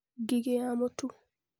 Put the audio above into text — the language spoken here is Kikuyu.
Ngigĩ ya mũtu (Sphaerotheca fuliginea na Erysiphe cichoracearum)